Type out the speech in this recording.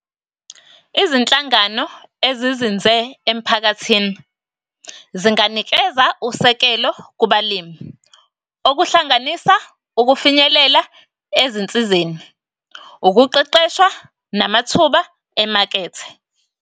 Izinhlangano ezizinze emphakathini, zinganikeza usekelo kubalimi, okuhlanganisa ukufinyelela ezinsizeni, ukuqeqeshwa namathuba emakethe.